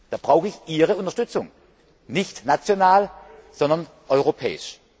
Dabei brauche ich Ihre Unterstützung, nicht national, sondern europäisch.